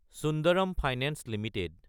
Sundaram finance Ltd